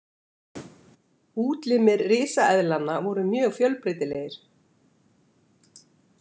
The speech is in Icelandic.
Útlimir risaeðlanna voru mjög fjölbreytilegir.